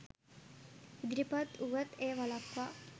ඉදිරිපත් වුවත් එය වළක්වා